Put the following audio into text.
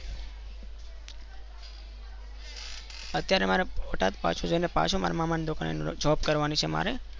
અત્યરે મારે બોટદ પાછુ જાયને પાછુ મારા મામા ની ત્યાં Job કર્નીરવા છે મારે